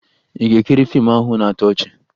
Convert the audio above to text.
Ị ga-ekiri fiimu ahụ na-atọ ọchị?